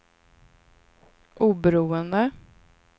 oberoende